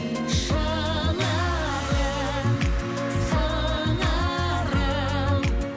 шынарым сыңарым